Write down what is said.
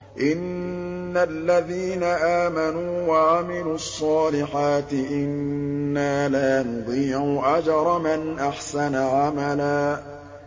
إِنَّ الَّذِينَ آمَنُوا وَعَمِلُوا الصَّالِحَاتِ إِنَّا لَا نُضِيعُ أَجْرَ مَنْ أَحْسَنَ عَمَلًا